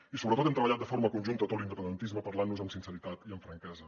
i sobretot hem treballat de forma conjunta tot l’independentisme parlant nos amb sinceritat i amb franquesa